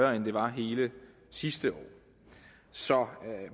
end det var hele sidste år så